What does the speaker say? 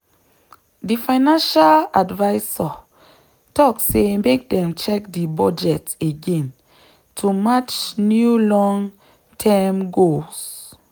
di financial advisor talk say make dem check di budget again to match new long-term goals.